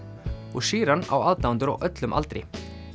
og Sheeran á aðdáendur á öllum aldri